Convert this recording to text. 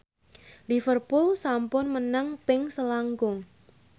Liverpool sampun menang ping selangkung